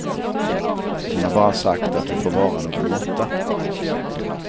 Hon har bara sagt att det får vara någon måtta.